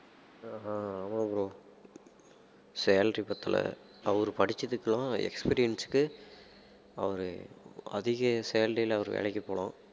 அஹ் அஹ் ஆமா bro salary பத்தல அவரு படிச்சதுக்கு எல்லாம் experience க்கு அவரு அதிக salary ல அவர் வேலைக்கு போலாம்